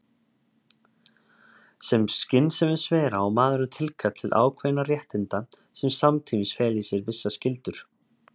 Sem skynsemisvera á maðurinn tilkall til ákveðinna réttinda sem samtímis fela í sér vissar skyldur.